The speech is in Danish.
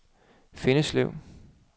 Fjenneslev